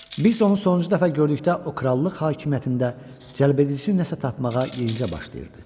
Biz onu sonuncu dəfə gördükdə o krallıq hakimiyyətində cəlbedici nəsə tapmağa yenicə başlayırdı.